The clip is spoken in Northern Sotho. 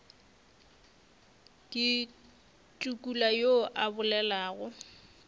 ke tukula yo a bolelago